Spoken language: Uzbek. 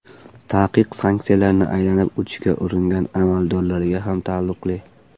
Taqiq sanksiyalarni aylanib o‘tishga uringan amaldorlarga ham taalluqli.